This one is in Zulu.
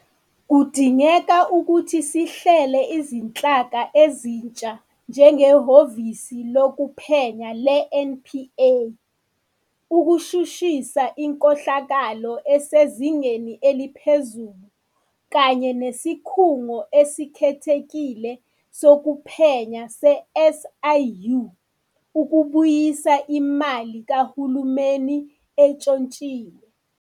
Kudingeke ukuthi sihlele izinhlaka ezintsha, njengeHhovisi Lokuphenya le-NPA ukushushisa inkohlakalo esezingeni eliphezulu kanye neSikhungo Esikhethekile Sokuphenya se-SIU ukubuyisa imali kahulumeni entshontshiwe.